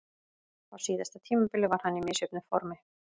Á síðasta tímabili var hann í misjöfnu formi.